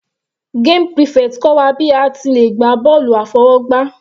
Game prefect kọ́ wa bí a ti le gbá bọ́ọ̀lù àfọwọ́gbá.